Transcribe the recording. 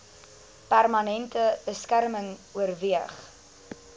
permanente beskerming oorweeg